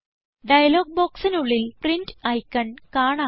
dialogue ബോക്സിനുള്ളിൽ print icon കാണാം